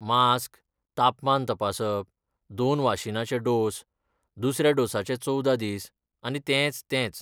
Mask, तापमान तपासप, दोन वासिनाचे डोस, दुसऱ्या डोसाचे चोवदा दीस, आनी तेंच तेंच.